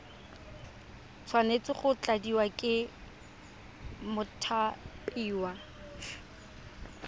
tshwanetse go tladiwa ke mothapiwa